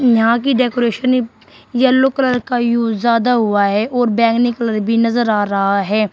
यहां की decoration yellow colour का यूज ज्यादा हुआ है और बैंगनी कलर भी नजर आ रहा है।